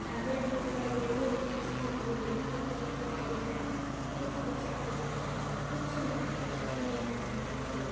चाबी रखी हुई दिखाई दे रही है जो गुच्छे मे लगी हुई हैये पेन दिखाई दे रहा है कुछ बुक्स रखी हुई दिखाई दे रही है कुछ लड़कियाँ पड़ती हुई नजर अ रही है लिखती हुई।